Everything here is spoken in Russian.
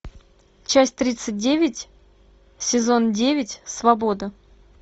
часть тридцать девять сезон девять свобода